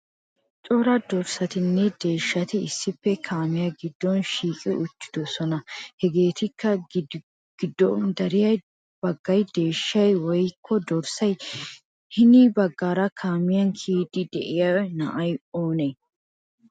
Cora dorssatinme deeshshati issippe kaamiya giddon shiiqi uttidoosona. Hageeti giddoppe dariya baggay deeshshayiye woykko dorssay? Hini baggaara kaamiya kiyiidi de'iya na'ay oonee?